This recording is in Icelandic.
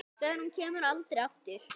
Þegar hún kemur aldrei aftur.